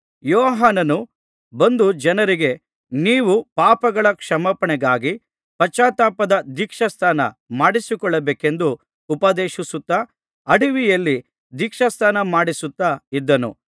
ಯೋಹಾನನು ಬಂದು ಜನರಿಗೆ ನೀವು ಪಾಪಗಳ ಕ್ಷಮಾಪಣೆಗಾಗಿ ಪಶ್ಚಾತ್ತಾಪದ ದೀಕ್ಷಾಸ್ನಾನ ಮಾಡಿಸಿಕೊಳ್ಳಬೇಕೆಂದು ಉಪದೇಶಿಸುತ್ತಾ ಅಡವಿಯಲ್ಲಿ ದೀಕ್ಷಾಸ್ನಾನಮಾಡಿಸುತ್ತಾ ಇದ್ದನು